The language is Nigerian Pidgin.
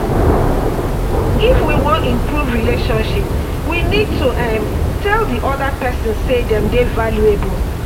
if we wan improve relationship we need to um tell di oda person sey dem dey valuable